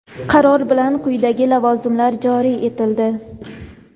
Qaror bilan quyidagi lavozimlar joriy etildi:.